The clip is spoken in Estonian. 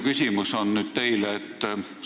Mul on nüüd teile küsimus.